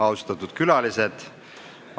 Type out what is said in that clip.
Austatud külalised!